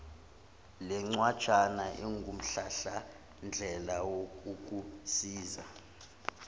lencwajana ingumhlahlandlela wokukusiza